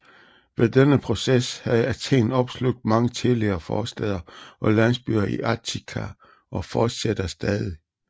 Ved denne proces har Athen opslugt mange tidligere forstæder og landsbyer i Attika og fortsætter stadig